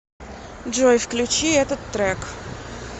джой включи этот трек